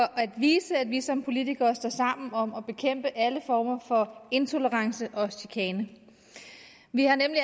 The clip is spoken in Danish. at vise at vi som politikere står sammen om at bekæmpe alle former for intolerance og chikane vi har nemlig